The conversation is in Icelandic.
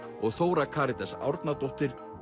og Þóra Karítas Árnadóttir